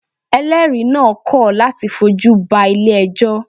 Eléèri naa kọ̀ láti fojú ba Ilé ẹjọ́